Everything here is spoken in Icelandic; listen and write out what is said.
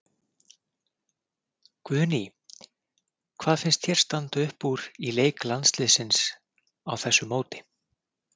Guðný: Hvað finnst þér standa upp úr í leik landsliðsins á þessu móti?